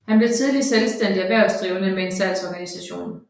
Han blev tidligt selvstændig erhvervsdrivende med en salgsorganisation